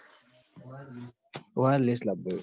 wireless લાબબો સ